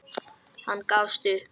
Hann gafst upp.